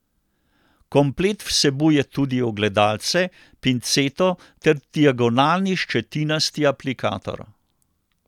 Komplet vsebuje tudi ogledalce, pinceto ter diagonalni ščetinasti aplikator.